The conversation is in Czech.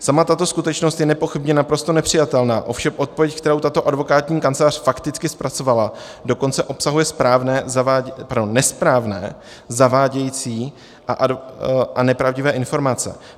Sama tato skutečnost je nepochybně naprosto nepřijatelná, ovšem odpověď, kterou tato advokátní kancelář fakticky zpracovala, dokonce obsahuje nesprávné, zavádějící a nepravdivé informace,